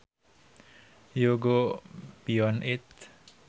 you go beyond it